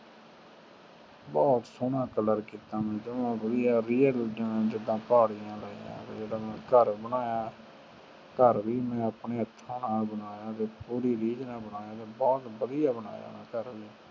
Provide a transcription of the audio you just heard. ਬਹੁਤ ਸੋਹਣਾ color ਕੀਤੇ ਮੈਂ ਬਹੁਤ ਵਦੀਆ ਜਿਵੇਂ real ਮੈਂ ਘਰ ਹੀ ਬਣਾਇਆ ਘਰ ਵੀ ਮੈਂ ਆਪਣੇ ਹਾਥ ਨਾਲ ਬਣਿਆ ਤੇ ਪੂਰੀ ਰੀਝ ਨਾਲ ਬਣਾਇਆ ਬਹੁਤ ਸੋਹਣੇ color ਕੀਤਾ ਮੈਂ